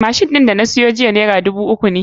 Machine ɗin da na siyo jiya naira dubu uku ne